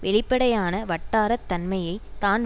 வெளிப்படையான வட்டார தன்மையை தான்